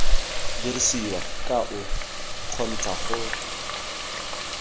dirisiwa ka o kgontsha go